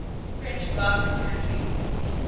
french basque country